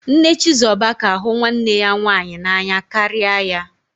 Nne Chizoba ka hụ nwanne ya nwaanyị n'anya karịa ya